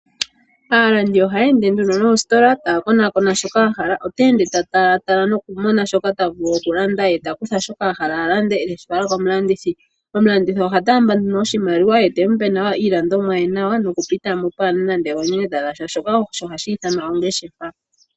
Aalandi ohaya ende nduno noositola taya konakona shoka ya hala. Ota ende ta talatala nokumona shoka ta vulu okulanda, ye ta kutha shoka a hala a lande e teshi fala komulandithi. Omulandithi oha taamba nduno oshimaliwa ye te mu pe nawa iilandomwa ye nawa, nokupita mo pwaa na nande oonyenyeta dha sha. Shoka osho hashi ithanwa ongeshefa.